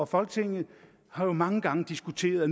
folketinget har jo mange gange diskuteret at